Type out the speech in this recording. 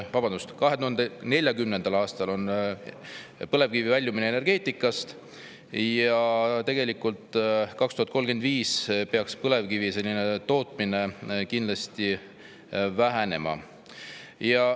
Vabandust, 2040. aastal väljume põlevkivienergeetikast ja 2035. aastaks peaks põlevkivi tootmine kindlasti vähenema.